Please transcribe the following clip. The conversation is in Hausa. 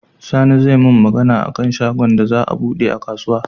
Sani zai mun Magana akan shagon da za a buɗe a kasuwa